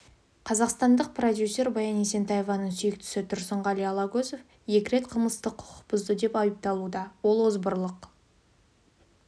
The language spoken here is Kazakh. қазақстандық продюсер баян есентаеваның сүйіктісі тұрсынғали алагөзов екі рет қылмыстық құқық бұзды деп айыпталуда ол озбырлық